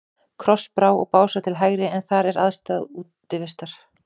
Krossá og Básar til hægri, en þar er aðstaða Útivistar.